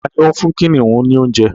Tani o ń fún kìnìún ní oúnjẹ?